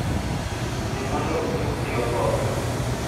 Yie mondo utug gi oboke